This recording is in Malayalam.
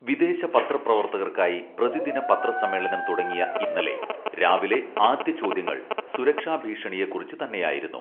വിദേശ പത്ര പ്രവർത്തകർക്കായി പ്രതിദിന പത്ര സമ്മേളനം തുടങ്ങിയ ഇന്നലെ രാവിലെ ആദ്യ ചോദ്യങ്ങൾ സുരക്ഷാ ഭീഷണിയെക്കുറിച്ചു തന്നെയായിരുന്നു